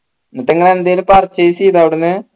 എന്നിട്ട് ഇങ്ങള് എന്തേലും purchase ചെയ്ത അവിടെന്ന്